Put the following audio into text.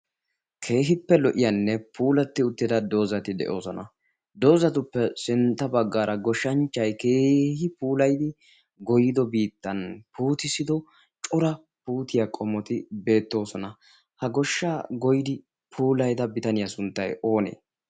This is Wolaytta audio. keehippe lo'iyaanne puulatti uttida doozati de'oosona. doozatuppe sintta baggaara goshshanchchai keehi puulayidi goyido biittan puutissido cura puutiyaa qomoti beettoosona. ha goshshaa goidi puulaida bitaniyaa sunttay oonee?